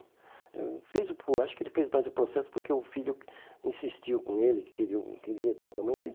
ãh fez o po Acho que ele fez mais o processo porque o filho insistiu com ele, que queria o queria estar com a mãe.